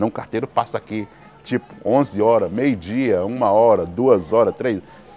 Não, o carteiro passa aqui, tipo, onze horas, meio dia, uma hora, duas horas, três.